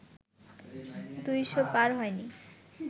দুইশ পার হয়নি